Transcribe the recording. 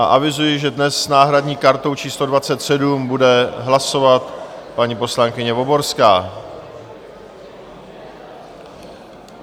A avizuji, že dnes s náhradní kartou číslo 27 bude hlasovat paní poslankyně Voborská.